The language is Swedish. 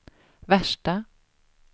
värsta